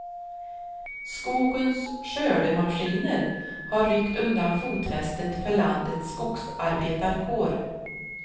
Skogens skördemaskiner har ryckt undan fotfästet för landets skogsarbetarkår.